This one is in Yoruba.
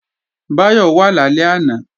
Báyọ̀ wà lálẹ́ àná